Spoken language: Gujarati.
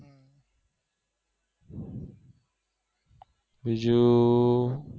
જો